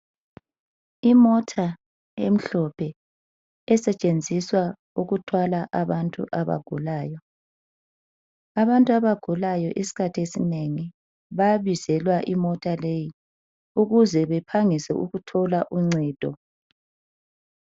Imota emhlophe esetshenziswa ukuthwala abantu abagulayo. Abantu abagulayo isikhathi esinenge bayabizelwa imota leyi ukuze bephangise ukuthola uncedo.